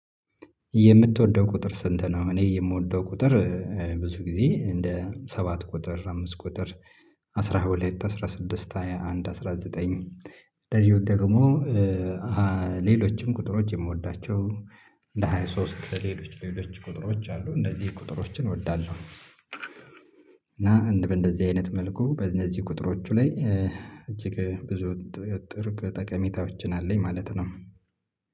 የምትወደው ቁጥር ስንት ነው? እኔ የምወደው ቁጥር ብዙ ጊዜ እንደ ሰባት ቁጥር አምስት ቁጥር አስራ ሁለት አስራ ስድስት ሃያ አንድ አስራ ዘጠኝ። እንደዚሁ ደግሞ። ሌሎችም ቁጥሮች የምወዳቸው። ለሃያ ሶስት ሌሎች ሌሎች ቁጥሮች አሉ እንደዚህ ቁጥሮችን እወዳለሁ። እና እንደዚህ አይነት መልኩ በእነዚህ ቁጥሮቹ ላይ እጅግ ብዙ ጥብቅ ጠቀሜታዎችን አለኝ ማለት ነው።